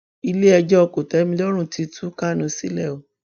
iléẹjọ kòtẹmilọrùn ti tú kánu sílẹ o